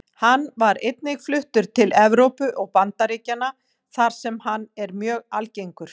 Hann var einnig fluttur til Evrópu og Bandaríkjanna þar sem hann er mjög algengur.